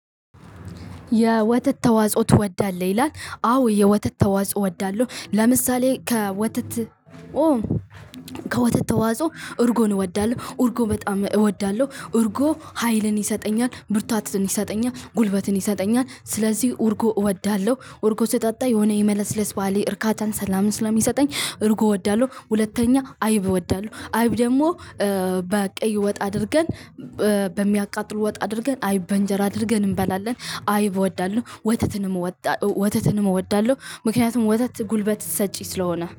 የወተት ተዋጽኦ ትወዳለህ ይላል? አወ የወተት ተዋጽኦ አወዳለው። ለምሳሌ ከወተት። ከወተት ተዋጾ እርጎን እወዳለሁ እርጎ በጣም እወዳለሁ እርጎ ሀይልን ይሰጠኛል ብርታትን ይሰጠኛል ጉልበትን ይሰጠኛል። ስለዚህ እርጎ እወዳለሁ። እርጎ ስጠጣ የሆነ የመለስለስ ባህሪ እርካታን ሰላምን ስለሚሰጠኝ እርጎ እወዳለሁ። ሁለተኛ አይብ እወዳለሁ አይብ ደግሞ በቅይ ወጥ አድርገን በሚያቃጥሉ ወጥ አድርገን አይብ በንጀራ አድርገን እንበላለን። አይብ እወዳለሁ ወተትንም እወዳለሁ ወተትንም እወዳለሁ። ምክንያቱም ወተት ጉልበት ሰጪ ስለሆነ